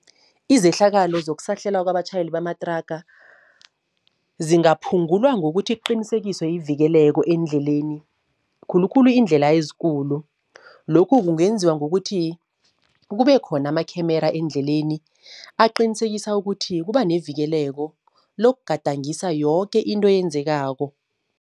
Izehlakalo zokusahlelwa kwabatjhayeli bamatraga, zingaphungulwa ngokuthi kuqinisekiswe ivikeleko eendleleni. Khulukhulu iindlela ezikulu. Lokhu kungenziwa ngokuthi kube khona amakhemera eendleleni, aqinisekisa ukuthi kuba nevikeleko lokugadangisa yoke into eyenzekako.